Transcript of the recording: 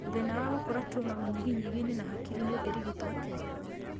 Thĩna wa gũkũra tuma mũnyiginyigi-inĩ na hakiri-inĩ ũngĩrigitwo atĩa?